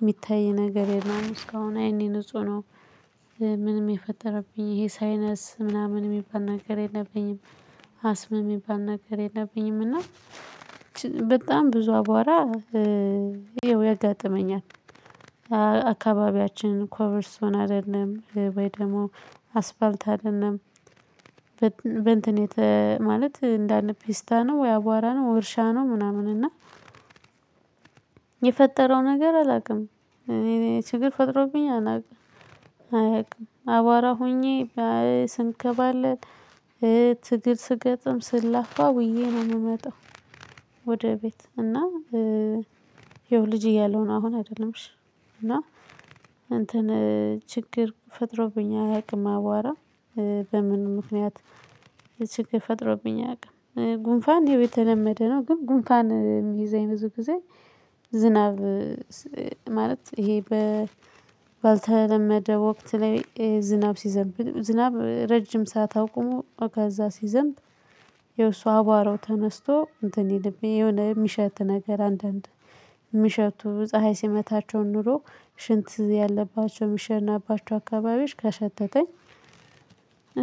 የሚታይ ነገር የለውም እስካሁን አይኔ ንጹህ ነው። ምንም የፈጠረብኝ ይሄ ሳይነስ ምናምን የሚባል ነገር የለብኝም። አስምም የሚባል ነገር የለብኝም። እና በጣም ብዙ አቧራ ይኸው ያጋጥመኛል። አካባቢያችን ኮብል እስቶን አይደለም ወይ ደግሞ አስፓልት አይደለም። በእንትን የተ ማለት እንዳለ ፒስታ ነው፣ ወይ አቧራ ነው፣ እርሻ ነው ምናምን፤ እና የፈጠረው ነገር አላውቅም። እኔ ችግር ፈጥሮብኝ አላውቅም። አያውቅም አቧራ ሆኜ ስንከባለል፣ ትግል ስገጥም፣ ስላፋ ውዬ ነው የምመጣው ወደ ቤት፤ እና ይኸው ልጅ እያለሁ ነው አሁን አይደለም እሺ እና እንትን ችግር ፈጥሮብኝ አያውቅም አቧራ በምን ምክንያት የችግር ፈጥሮብኝ አያውቅም። ጉንፋን ይኸው የተለመደ ነው ግን ጉንፋን የሚይዘኝ ብዙ ጊዜ። ዝናብ ማለት ይሄ በ ባልተለመደ ወቅት ላይ ዝናብ ሲዘምብ ዝናብ ረጅም ሰዓት አቁሞ ከዛ ሲዘምብ። የእሱ አቧራው ተነስቶ እንትን ይልብኝ የሆነ የሚሸት ነገር አንዳንድ የሚሸቱ ፀሀይ ሲመታቸው ኑሮ ሽንት ያለባቸው ሚሸናባቸው አካባቢዎች ከሸተተኝ።